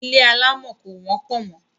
Ilé alámọ̀ kò wọ́pọ̀ mọ́.